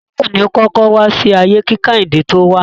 Táíwò ni ó kọ́kọ́ wá sí ayé kí Kẹ́hìndé tó wá.